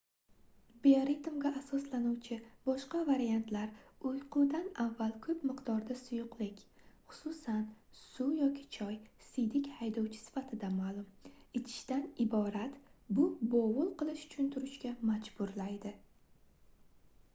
bioritmga asoslanuvchi boshqa variantlar uyqudan avval ko'p miqdorda suyuqlik xususan suv yoki choy siydik haydovchi sifatida ma'lum ichishdan iborat bu bovul qilish uchun turishga majburlaydi